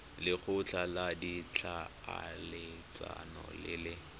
lekgotla la ditlhaeletsano le le